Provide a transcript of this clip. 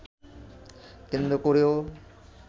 কেন্দ্র করেও